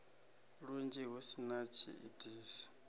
lunzhi hu si na tshiitisi